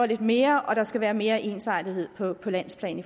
lidt mere og der skal også være mere ensartethed på på landsplan